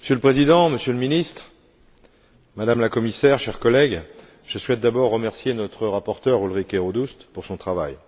Monsieur le Président, Monsieur le Ministre, Madame la Commissaire, chers collègues, je souhaite d'abord remercier notre rapporteure Ulrike Rodust pour son travail.